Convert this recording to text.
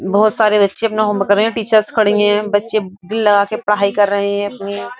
बहोत सारे बच्चे अपना होमवर्क कर रहे हैं। टीचर्स खड़ी हैं। बच्चे दिल लगाके पढाई कर रहे हैं अपनी।